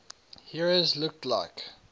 heroes looked like